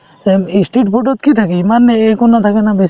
এই ই street food ত কি থাকে ইমান এ একো নাথাকে না বেছি